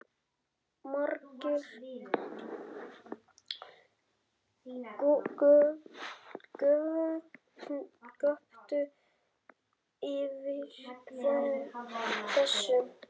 Margir göptu yfir þessu